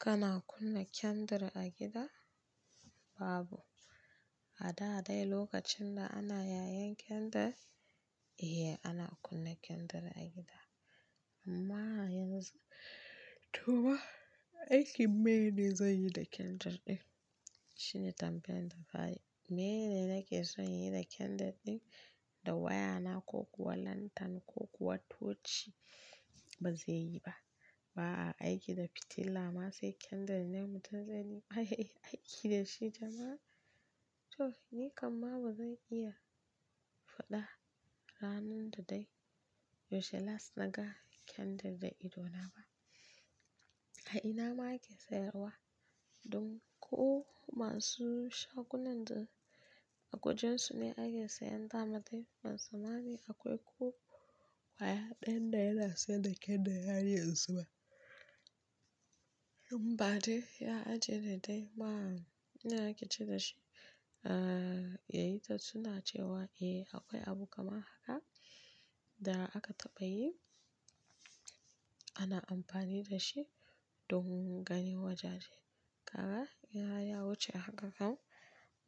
Kana kunna candle a gida? Babu. A da dai lokacin da ana yayen candle, eh ana kunna candle a gida. Amma yanzu to aiki mene zan yi da candle ɗin? Shine tambayan da ka yi. Mene nake son yi da candle ɗin? Da waya na ko kuwa lantern ko kuwa torch ba zai yi ba. Ba a aiki da fitila ma sai candle ne mutum zai yi aiki da shi jama'a. To ni kamma ba zan iya faɗa ranan da dai, yaushe last na ga candle da idona ba. A ina ma ake sayarwa? Dun ko masu shagunan da a kujeru su ne ake sayan ta mata. Musamman akwai ko waya ɗayan da yana sayar da candle har yanzu ba. In bade ya ajiye da dai. Ma ina ake ce da shi? Aa yayi ta tuna cewa eh akwai abu kamar haka da aka taɓa yi. Ana amfani da shi don ganin wajaje. Kaga ya ya wuce a haka kam.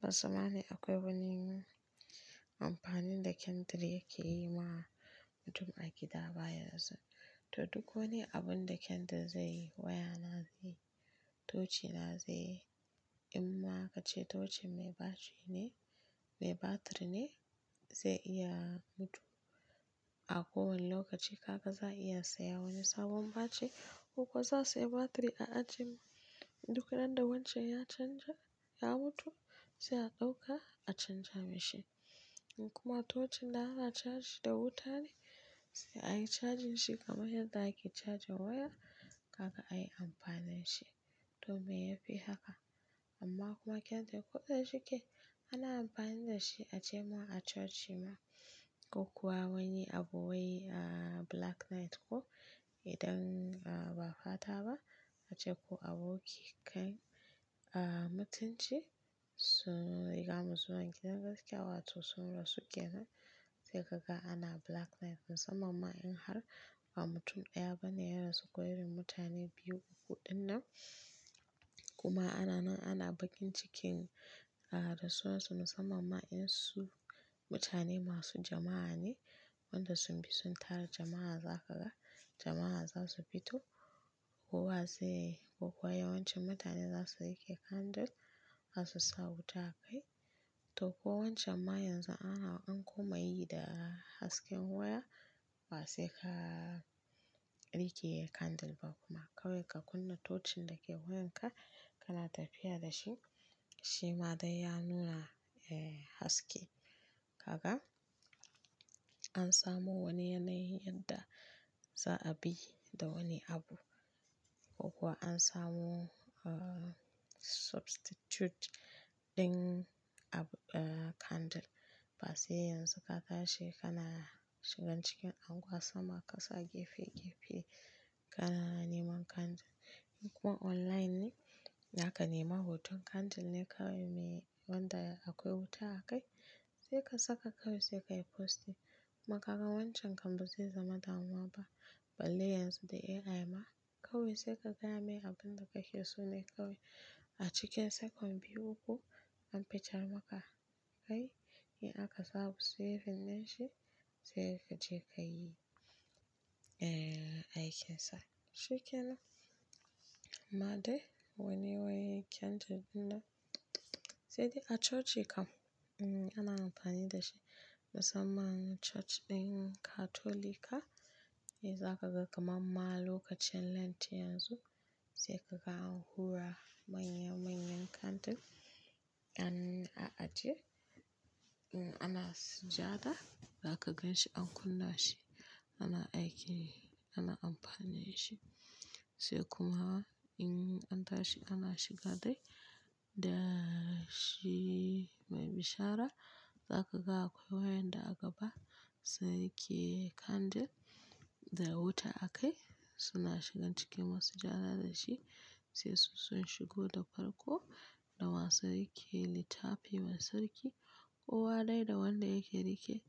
Musamman akwai wani amfanin da candle yake yi ma mutum a gida baya yanzu. To duk wane abun da candle zai yi waya na zai yi, torch na zai yi. In ma ka ce torch mai batiri ne, zai iya mutu a kowane lokaci. Kaka za iya saya wani sabon batiri ko kuwa za su yi batiri a ajiye duk ran da wancan ya canja-- ya mutu sai a ɗauka a canja mashi. In kuma torch da ana charge da wuta ne sai a yi cajin shi kamar yadda ake charge waya. Kaga ai amfanin shi domin ya fi haka. Amma kuma candle ko da shike ana amfani da shi a jema'a a coci ma ko kuwa wani abu wai a black night ko idan ba fata ba. Ace ko aboki kai a mutunci suna iƙama zuwa gidan gaskiya wato sun rasu kenan. Sai kaga ana black night musamman in har ba mutum ɗaya ba ne ya rasu ko irin mutane biyu uku din nan. Kuma ana nan ana bakin cikin a rasuwan su musamman in su mutane masu jama'a ne wanda sun bi sun tara jama'a za kaga jama'a za su fito kowa zai yi ko kuwa yawancin mutane za su riƙe candle za su sa wuta a kai. To ko wancan ma yanzu ana an kuma yi da hasken waya ba sai ka riƙe candle ba kuma kawai ka kunna torch ɗin da ke wayan ka kana tafiya da shi. Shi ma dai ya nuna haske. Kaka an samu wani yanayi yadda za a bi da wani abu ko kuwa an samu substitute din candle. Ba sai yanzu ka tashi kana shigan cikin unguwa sama kasa gefe gefe kana neman candle. In kuma online ne naka nema hoton candle ne kawai me wanda akwai wuta a kai sai ka saka kawai sai ka yi post. Kuma kaga wancan kam ba zai zama damuwa ba. Balle yanzu da AI ma kawai sai ka gaya me abun da kake so ne kawai a cikin second biyu uku an fitar maka kai. In aka samu saving na shi sai ka je ka yi aikin sa. Shikenan. Ma dai wane waye candle din nan? Sai dai a coci kam ana amfani da shi musamman a coci ɗin katolika. E zaka ga kamar ma lokacin lent yanzu sai kaga an hura manya manyan candle an ajiye. In ana sujada za ka gan shi an kunna shi ana aiki da shi ana amfani da shi. Sai kuma in an tashi ana shiga dai da shi mai bishara za ka ga akwai wayan da a gaba su rike candle da wuta a kai suna shigan cikin masu sujada da shi. Sai su sun shigo da farko da masu rike littafi masu rike kowa dai da wanda yake rike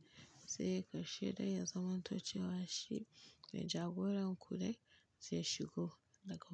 sai ka sheɗaya zaman tocewa shi mai jagoran ku dai sai shigo da kawai.